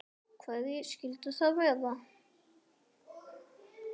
Hverjir skyldu það vera?